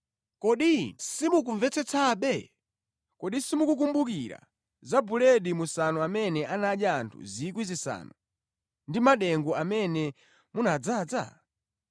Kodi inu simukumvetsetsabe? Kodi simukukumbukira za buledi musanu amene anadya anthu 5,000 ndi madengu amene munadzaza?